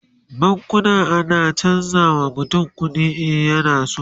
bankuna na chanza wa mutum kuɗi in yana so